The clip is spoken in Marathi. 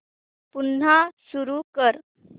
पुन्हा सुरू कर